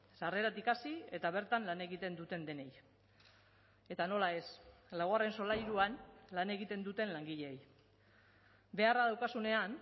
sarreratik hasi eta bertan lan egiten duten denei eta nola ez laugarren solairuan lan egiten duten langileei beharra daukazunean